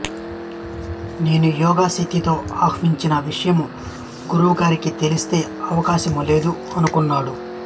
నేను యోగ శక్తితో ఆవహించిన విషయము గురువుగారికి తెలిసే అవకాశము లేదు అనుకున్నాడు